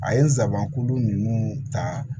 A ye n sabanan kuru ninnu ta